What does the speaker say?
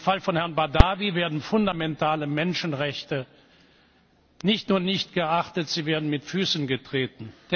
Im Fall von Herrn Badawi werden fundamentale Menschenrechte nicht nur nicht geachtet, sie werden mit Füßen getreten.